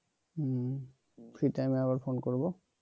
হম free টাইমে আবার phone করবো